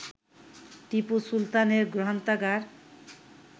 টিপু সুলতানের গ্রন্থাগার